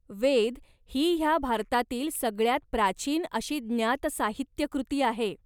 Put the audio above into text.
वेद ही ह्या भारतातली सगळ्यांत प्राचीन अशी ज्ञात साहित्यकृती आहे.